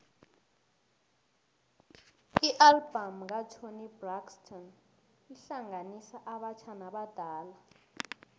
ialbum katoni braxton ihlanganisa abatjha nabadala